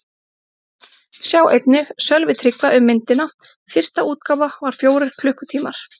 Sjá einnig: Sölvi Tryggva um myndina: Fyrsta útgáfa var fjórir klukkutímar